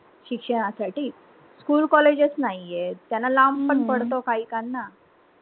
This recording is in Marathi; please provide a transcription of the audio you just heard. शिक्षणा साठी school colleges नाहीयेत त्यांना लांब पण पडत काहीकांना